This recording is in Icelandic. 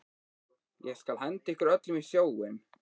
Ég skal henda ykkur öllum í sjóinn!